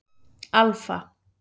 Alfa